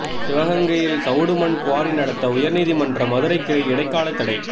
சிவகங்கையில் சவுடு மண் குவாரி நடத்த உயர்நீதிமன்ற மதுரைக்கிளை இடைக்காலத் தடை